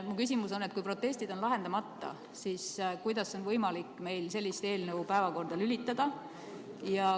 Mu küsimus on, et kui protestid on lahendamata, siis kuidas on võimalik meil sellist eelnõu päevakorda lülitada.